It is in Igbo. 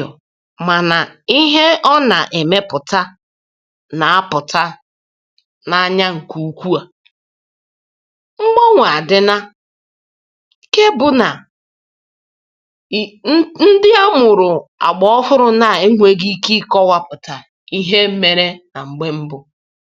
mgbanwe emeela nke mmadụ enweghị ike ịkọwa nke ọma ọzọ, um tụnyere ihe ndị gara aga.